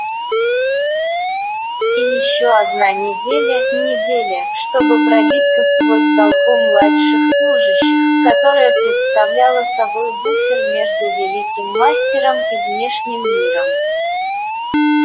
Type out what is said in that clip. и ещё одна неделя неделя чтобы пробиться сквозь толпу младших служащих которая представляла собой буфер между великим мастером и внешним миром